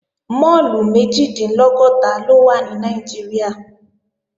Máàlù méjìdínlọ́gọ́ta ló wà ní Nàìjíríà